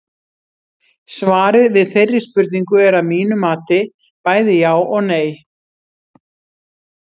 Svarið við þeirri spurningu er að mínu mati bæði já og nei.